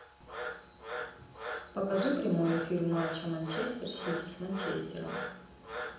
покажи прямой эфир матча манчестер сити с манчестером